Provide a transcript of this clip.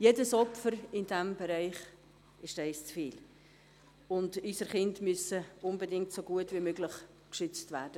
Jedes Opfer in diesem Bereich ist eines zu viel, und unsere Kinder müssen unbedingt so gut wie möglich geschützt werden.